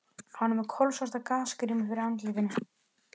Hann var með kolsvarta gasgrímu fyrir andlitinu.